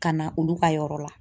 Ka na olu ka yɔrɔ la